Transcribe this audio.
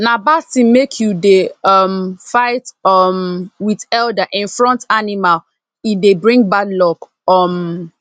na bad tin make you dey um figth um with elder in front animal e dey bring bad luck um